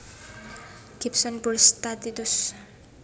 Gibson Bruce Statius